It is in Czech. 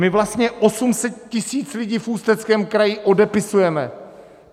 My vlastně 800 000 lidí v Ústeckém kraji odepisujeme.